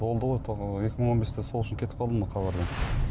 болды ғой екі мың он бесте сол үшін кетіп қалдым ғой хабардан